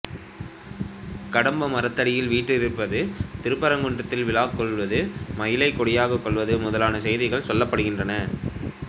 கடம்ப மரத்தடியில் வீற்றிருப்பது திருப்பரங்குன்றத்தில் விழாக் கொள்வது மயிலைக் கொடியாகக் கொள்வது முதலான செய்திகள் சொல்லப்படுகின்றன